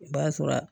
O b'a sɔrɔ a